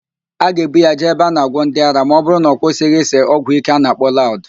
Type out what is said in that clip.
A ga-ebu ya jee ebe a na-agwọ ndị ara ma ọbụrụ na ọ kwụsịghị ịse ọgwụíké a na-akpọ laụd